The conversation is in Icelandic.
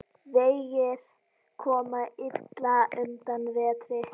Vegir koma illa undan vetri.